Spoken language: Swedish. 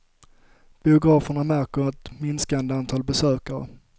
Biograferna märker ett minskande antal besökare.